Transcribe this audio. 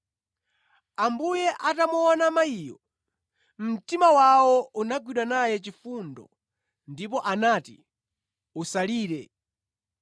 Ambuye atamuona mayiyo, mtima wawo unagwidwa naye chifundo ndipo anati, “Usalire.”